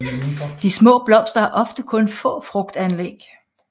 De små blomster har ofte kun få frugtanlæg